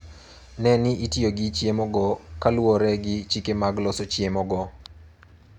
Ne ni itiyo gi chiemogo kaluwore gi chike mag loso chiemogo.